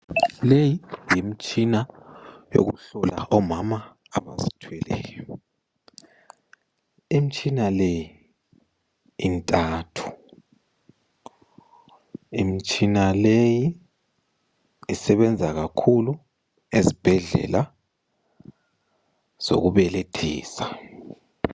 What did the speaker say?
Leyi yimitshina yokuhlola omama abazithweleyo. Imitshina le intathu. Imitshina leyi isebenza kakhulu ezibhedlela zokubelethisa.